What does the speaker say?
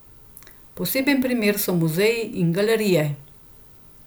Poseben primer so muzeji in galerije.